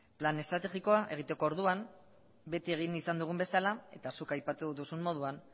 plan estrategikoa egiteko orduan beti egin izan dugun bezala eta zuk aipatu duzun moduan